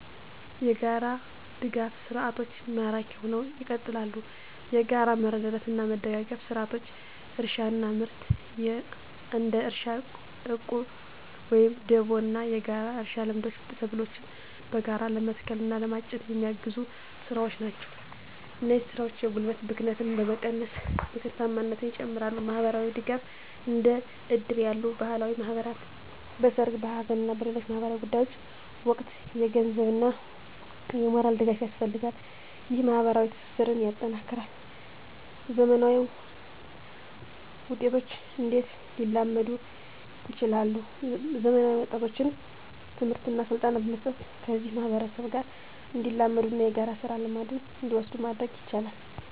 **የጋራ ድጋፍ ሰርዓቶች ማራኪ ሁነው ይቀጥላሉ፤ የጋራ መረዳዳትና መደጋገፍ ስርዓቶች: * እርሻና ምርት: እንደ እርሻ ዕቁብ ወይም ደቦ ያሉ የጋራ እርሻ ልምዶች ሰብሎችን በጋራ ለመትከል እና ለማጨድ የሚያግዙ ስራዎች ናቸው። እነዚህ ስራዎች የጉልበት ብክነትን በመቀነስ ምርታማነትን ይጨምራሉ። * ማህበራዊ ድጋፍ: እንደ እድር ያሉ ባህላዊ ማህበራት በሠርግ፣ በሐዘን እና በሌሎች ማኅበራዊ ጉዳዮች ወቅት የገንዘብና የሞራል ድጋፍ ያደርጋሉ። ይህ ማኅበራዊ ትስስርን ያጠናክራል። *ዘመናዊ ወጣቶች እንዴት ሊላመዱ ይችላሉ፤ ዘመናዊ ወጣቶችን ትምህርትና ስልጠና በመስጠት ከዚህ ማህበረሰብ ጋር እንዲላመዱና የጋራ ስራ ልምድን እንዲወስዱ ማድረግ ይቻላል።